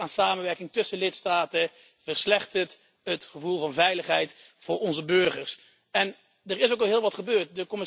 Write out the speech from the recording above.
Het gebrek aan samenwerking tussen lidstaten verslechtert het gevoel van veiligheid voor onze burgers en er is ook al heel wat gebeurd.